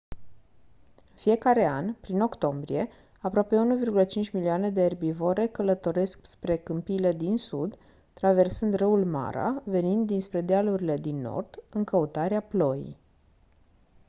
în fiecare an prin octombrie aproape 1,5 milioane de erbivore călătoresc spre câmpiile din sud traversând râul mara venind dinspre dealurile din nord în căutarea ploii